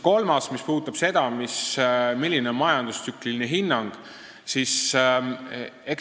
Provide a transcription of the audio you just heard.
Kolmas asi puudutab seda, milline on majandustsükliline hinnang.